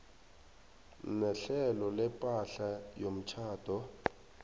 nehlelo lepahla yomtjhado